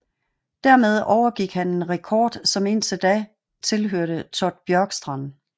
Dermed overgik han en rekord som indtil da tilhørte Todd Bjorkstrand